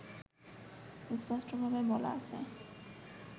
স্পষ্টভাবে বলা আছে